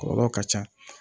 Kɔlɔlɔ ka ca